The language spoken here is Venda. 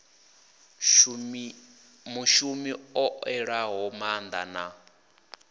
mushumi o ṋewaho maanḓa wa